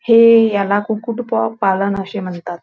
हे ह्याला कुकुट पो पालन असे म्हणतात.